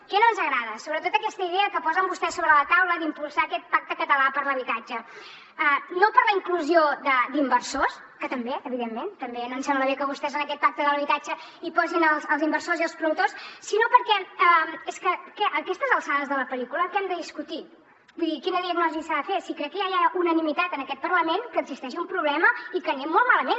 què no ens agrada sobretot aquesta idea que posen vostès sobre la taula d’impulsar aquest pacte català per l’habitatge no per la inclusió d’inversors que també evidentment no ens sembla bé que vostès en aquest pacte de l’habitatge hi posin els inversors i els promotors sinó perquè és que a aquestes alçades de la pel·lícula què hem de discutir vull dir quina diagnosi s’ha de fer si crec que ja hi ha unanimitat en aquest parlament que existeix un problema i que anem molt malament